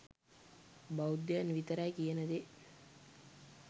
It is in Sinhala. බෞද්ධයන් විතරයි කියන දේ